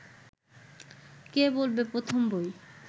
কে বলবে প্রথম বই